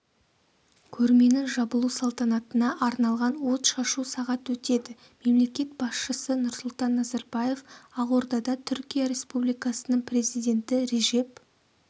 көрменің жабылу салтанатына арналған отшашу сағат өтеді мемлекет басшысы нұрсұлтан назарбаев ақордада түркия республикасының президенті режеп